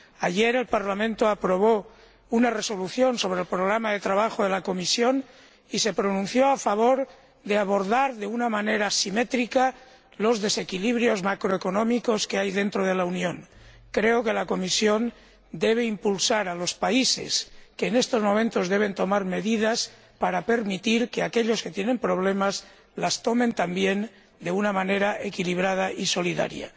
Ayer, el Parlamento aprobó una Resolución sobre el Programa de Trabajo de la Comisión y se pronunció a favor de abordar de una manera simétrica los desequilibrios macroeconómicos que hay dentro de la Unión. Creo que la Comisión debe estimular a los países que en estos momentos deben tomar medidas para permitir que aquellos que tienen problemas las tomen también de una manera equilibrada y solidaria.